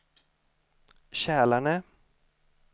Kälarne